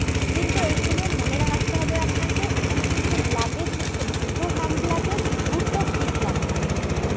কিন্তু এইখানে মনে রাখতে হবে আপনাকে এখানে কিন্তু luggage হচ্ছে দুটো hand luggage দুটো big luggage